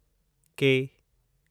के